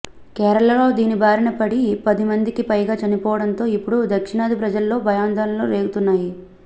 కేరళలో దీని బారిన పడి పది మందికి పైగా చనిపోవడంతో ఇప్పుడు దక్షిణాది ప్రజల్లో భయాందోళనలు రేగుతున్నాయి